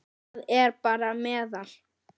Það er bara meðal.